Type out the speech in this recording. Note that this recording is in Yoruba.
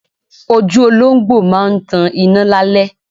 Ojú olóńgbò máa ń tan iná lálẹ́.